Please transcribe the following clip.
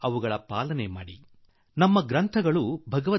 ಿಯಲ್ಲಿ ಪಾಲನೆ ಪೆÇೀಷಣೆ ಮಾಡಲಿ